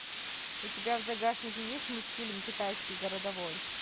у тебя в загашнике есть мультфильм китайский городовой